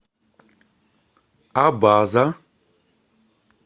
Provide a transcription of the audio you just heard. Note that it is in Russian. абаза